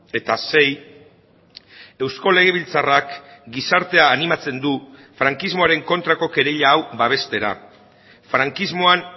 eta sei eusko legebiltzarrak gizartea animatzen du frankismoaren kontrako kereila hau babestera frankismoan